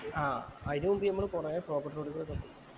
ആഹ് അയിന് മുമ്പ് നമ്മള് കൊറേ pocket road കൂടെ പോയി